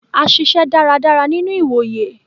A ṣiṣẹ dáradára nínú ìwòyè.